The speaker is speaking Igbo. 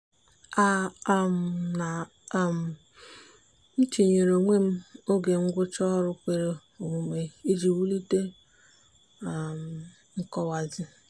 a um na um m etinyere onwe m oge ngwụcha ọrụ kwere omume iji wulite um nkọwazi.